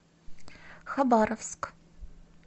хабаровск